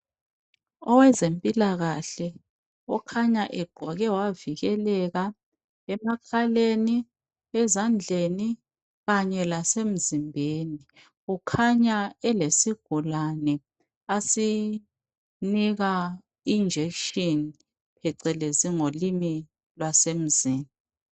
Owezempilakahle okhanya egqoke wavikeleka emakhaleni ezandleni kanye lasemzimbeni. Kukhanya elesigulane asinika injekishini phecelezi ngolimi lwasemzini.